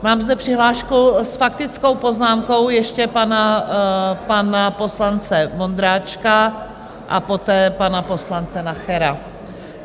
Mám zde přihlášku s faktickou poznámkou ještě pana poslance Vondráčka a poté pana poslance Nachera.